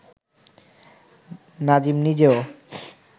নাজিম নিজেও